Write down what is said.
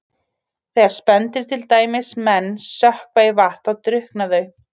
Þegar spendýr, til dæmis menn, sökkva í vatn þá drukkna þau.